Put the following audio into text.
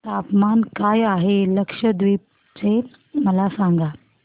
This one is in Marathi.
तापमान काय आहे लक्षद्वीप चे मला सांगा